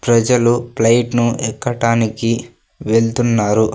ప్రజలు ఫ్లైట్ ను ఎక్కటానికి వెళ్తున్నారు.